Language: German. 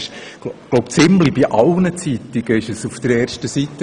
Ich glaube, bei ziemlich allen Zeitungen stand das Thema auf der Frontseite.